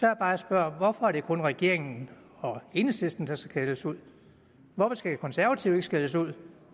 jeg bare spørger hvorfor er det kun regeringen og enhedslisten der skal skældes ud hvorfor skal de konservative ikke skældes ud